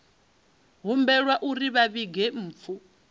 humbelwa uri vha vhige mpfu